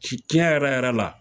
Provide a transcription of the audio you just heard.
Si ɲɛ yɛrɛ yɛrɛ la